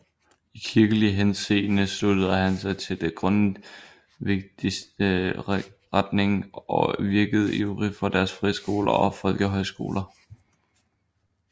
I kirkelig henseende sluttede han sig til den grundtvigske retning og virkede ivrig for dens friskoler og folkehøjskoler